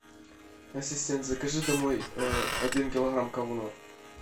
ассистент закажи домой один килограмм говна